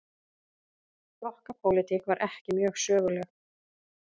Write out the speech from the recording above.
Flokkapólitík var ekki mjög söguleg.